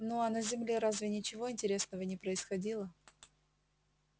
ну а на земле разве ничего интересного не происходило